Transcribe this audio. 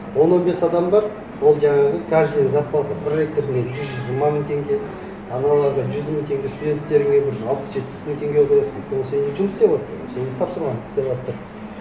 он он бес адам бар ол жаңағы каждыйына зарплата проректорыңа жүз жиырма мың теңге аналарға жүз мың теңге студенттеріме бір алпыс жетпіс мың теңге қоясың өйткені сенімен жұмыс істеватыр ғой сенің тапсырмаңды істеватыр